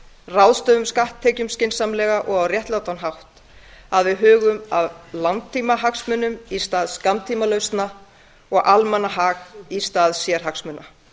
ráðstöfum skatttekjum skynsamlega og á réttlátan hátt að við hugum að langtímahagsmunum í stað skammtímalausna að almannahag í stað sérhagsmuna